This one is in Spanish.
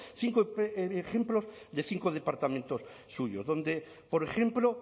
cinco ejemplos de cinco departamentos suyos donde por ejemplo